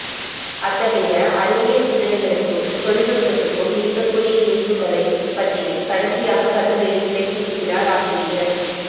அத்தகையஅறிவியல் சிந்தனைகளுக்கும் தொழில்நுட்பத்துக்கும் இருக்கக்கூடிய இணைப்புகளை பற்றிக் கடைசியாக கட்டுரையில் விளக்கியிருக்கிறார் ஆசிரியர்